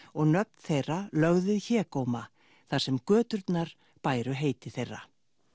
og nöfn þeirra lögð við hégóma þar sem göturnar bæru heiti þeirra